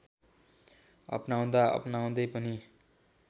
अपनाउँदा अपनाउँदै पनि